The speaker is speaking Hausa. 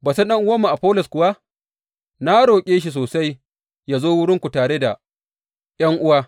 Batun ɗan’uwanmu Afollos kuwa, na roƙe shi sosai yă zo wurinku tare da ’yan’uwa.